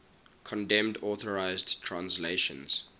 condemned unauthorized translations